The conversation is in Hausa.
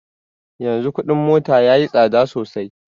Yanzu kuɗin mota yayi tsada sosai